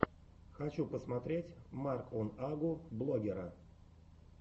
хочу посмотреть марк он агу блогера